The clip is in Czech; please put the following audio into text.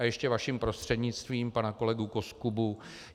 A ještě vaším prostřednictvím pana kolegu Koskubu.